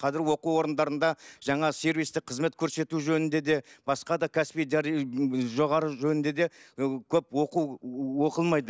қазір оқу орындарында жаңа сервистік қызмет көрсету жөнінде де басқа да кәсіби жоғары жөнінде де ыыы көп оқу оқылмайды